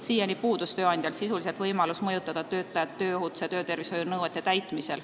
Siiani puudus tööandjal sisuliselt võimalus mõjutada töötajat, et ta tööohutus- ja töötervishoiunõudeid täidaks.